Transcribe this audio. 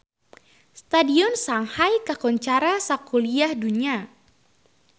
Stadion Shanghai kakoncara sakuliah dunya